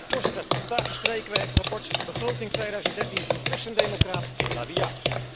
Voorzitter, vandaag bespreken wij het verslag begroting 2013 van christendemocraat La Via.